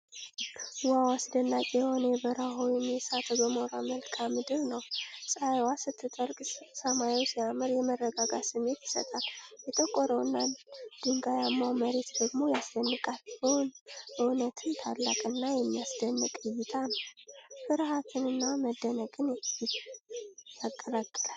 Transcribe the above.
ዋው! አስደናቂ የሆነ የበረሃ ወይም የእሳተ ገሞራ መልክዓ ምድር ነው። ፀሐይዋ ስትጠልቅ ሰማዩ ሲያምር፣ የመረጋጋት ስሜት ይሰጣል። የጠቆረው እና ድንጋያማው መሬት ደግሞ ያስደንቃል። በእውነትም ታላቅ እና የሚያስደንቅ እይታ ነው! ፍርሃትንና መደነቅን ያቀላቅላል።